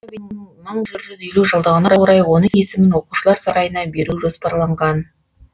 мың бір жүз елу жылдығына орай оның есімін оқушылар сарайына беру жоспарланған